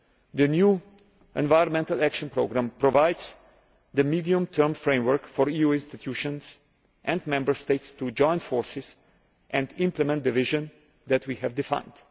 The new environmental action programme provides the medium term framework for EU institutions and Member States to join forces and implement the vision that we have defined.